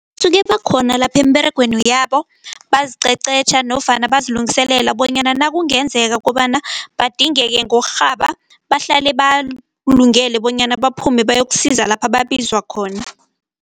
Usuke bakhona lapha emiberegweni yabo. Baziqeqetjha nofana bazilungiselele bonyana nakungenzeka kobana badingeke ngokurhaba, bahlale balungele bonyana baphume bayokusiza lapha babizwa khona.